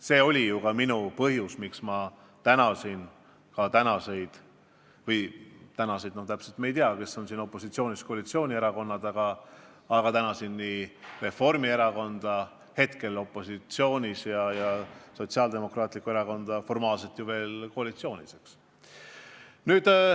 See oli ju ka põhjus, miks ma tänasin ka tänaseid opositsioonierakondi – õigemini me täpselt veel ei tea, kes on siin opositsioonis, kes koalitsioonis –, aga ma tänasin nii Reformierakonda, kes on praegu opositsioonis, ja Sotsiaaldemokraatlikku Erakonda, kes on formaalselt veel koalitsioonis.